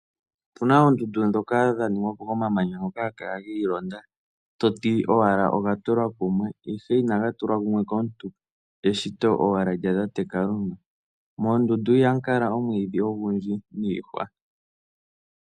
Opu na oondundu ndhoka dha ningwa po komamanya ngoka haga kala gi ilonda, to ti owala oga tulwa kumwe, ihe inaga tulwa kumwe komuntu eshito owala lyatate Kalunga. Moondundu ihamu kala oondundu odhindji niihwa.